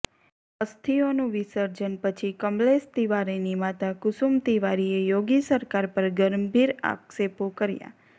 અસ્થિઓનું વિસર્જન પછી કમલેશ તિવારીની માતા કુસુમ તિવારીએ યોગી સરકાર પર ગંભીર આક્ષેપો કર્યા